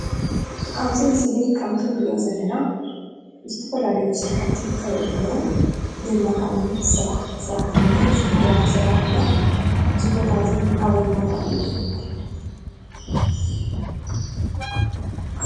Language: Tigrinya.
ኣብዚ ምስሊ ከምቲ ንሪኦ ዘለና ዝተፈላለዩ ስራሕቲ ይካየዱ አለው። ብመካይን ዝስራሕ ሰራሕ እንሄ ፣ፅርግያ ይስራሕ አሎ። እዚ ቦታ እዚ አበይ ቦታ እዩ?